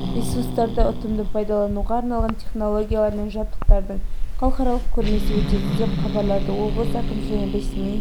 ресурстарды ұтымды пайдалануға арналған технологиялар мен жабдықтардың халықаралық көрмесі өтеді деп хабарлады облыс әкімшілігінің ресми